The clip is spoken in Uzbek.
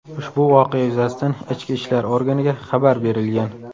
Ushbu voqea yuzasidan ichki ishlar organiga xabar berilgan.